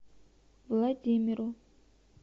владимиру